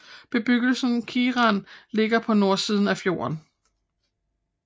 Bebyggelsen Kiran ligger på nordsiden af fjorden